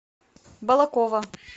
балаково